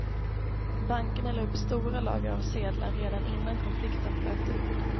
Bankerna la upp stora lager av sedlar redan innan konflikten bröt ut.